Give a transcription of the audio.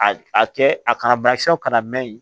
A a kɛ a kana bana kisɛw kana mɛ